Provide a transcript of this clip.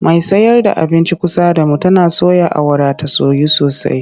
Mai sayar da abincin kusa da mu tana soya awara ta soyu sosai.